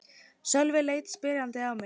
Sölvi leit spyrjandi á mig.